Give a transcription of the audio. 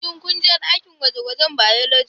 Shin ku je dakin gwaje-gwajen " Biology"